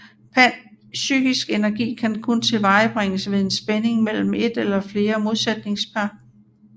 Psykisk energi kan kun tilvejebringes ved en spænding mellem et eller flere modsætningspar